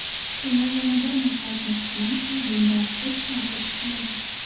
Shuni yana bir marta aytmoqchimanki, bundan hech narsa chiqmaydi.